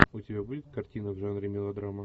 у тебя будет картина в жанре мелодрама